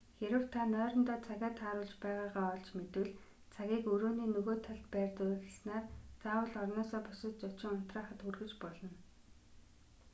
хэрэв та нойрондоо цагаа тааруулж байгаагаа олж мэдвэл цагийг өрөөний нөгөө талд байрлуулснаар заавал орноосоо босож очин унтраахад хүргэж болно